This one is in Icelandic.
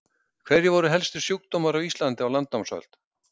Hverjir voru helstu sjúkdómar á Íslandi á landnámsöld?